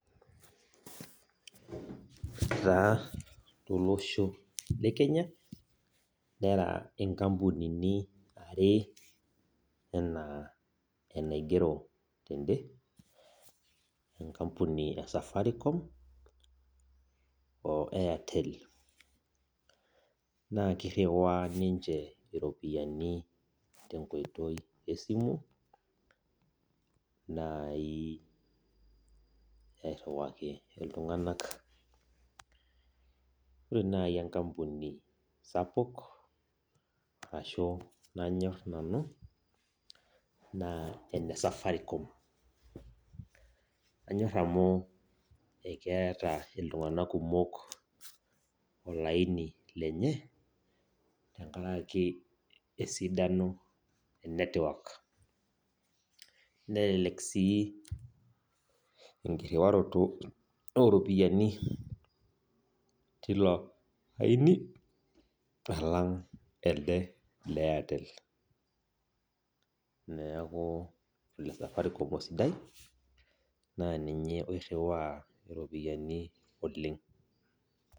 Etaa tolosho le Kenya nera nkampunini are ana enaigero tende, enkapuni esafaricom o airtel na kiriwaa ninche ropiyiani tenkoitoi esimu nai airiwaki ltunganak ore nai enkampuni sapuk ashu nanyor nanu na enesafaricom anyor amu keeta ltunganak kumok olaini lenye tenkaraki esidano e netwok nelek si enkiriwaroto oropiyiani tilo aini alang elde le airtel neaku ole Safaricom osidai na ninye oiriwaa ropiyani oleng.